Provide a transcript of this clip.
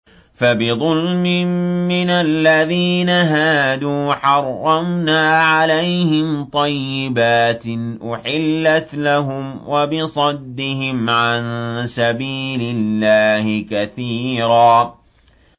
فَبِظُلْمٍ مِّنَ الَّذِينَ هَادُوا حَرَّمْنَا عَلَيْهِمْ طَيِّبَاتٍ أُحِلَّتْ لَهُمْ وَبِصَدِّهِمْ عَن سَبِيلِ اللَّهِ كَثِيرًا